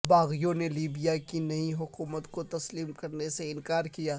باغیوں نے لیبیا کی نئی حکومت کو تسلیم کرنے سے انکار کیا